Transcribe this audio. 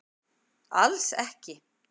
Alls ekki